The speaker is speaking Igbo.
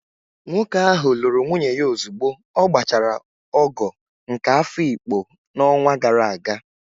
Nwoke ahụ lụrụ nwunye ya ozugbo ọ gbachara ogo nke Afikpo n'ọnwa gara aga